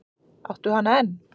Áttu hana enn?